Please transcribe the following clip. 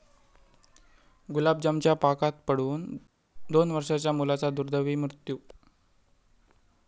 गुलाबजामच्या पाकात पडून दोन वर्षांच्या मुलाचा दुर्दैवी मृत्यू